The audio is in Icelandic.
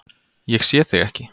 Ég sé þig ekki.